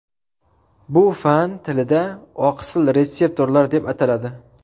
Bu fan tilida oqsil retseptorlar deb ataladi.